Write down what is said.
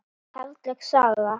Karllæg saga?